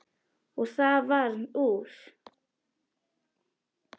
Og það varð úr.